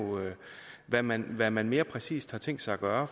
hvad man hvad man mere præcist har tænkt sig at gøre